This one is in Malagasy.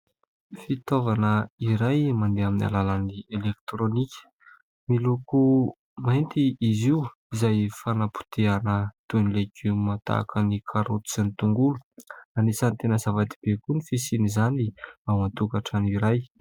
Fitaovana iray mandeha amin'ny alalan'ny elektrônika, miloko mainty izy io izay fanapotehana toy ny leigioma tahaka ny karaoty sy ny tongolo. Anisany tena zava-dehibe koa ny fisian' izany ao an-tokatrano iray.